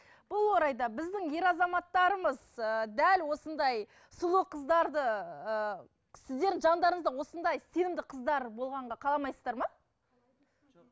бұл орайда біздің ер азаматтарымыз ы дәл осындай сұлу қыздарды ы сіздердің жандарыңызда осындай сенімді қыздар болғанға қаламайсыздар ма